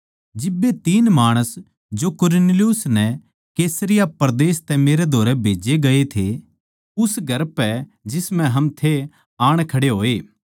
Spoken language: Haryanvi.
जिब्बे तीन माणस जो कुरनेलियुस नै कैसरिया परदेस तै मेरै धोरै खन्दाए गये थे उस घर पै जिसम्ह हम थे आण खड़े होए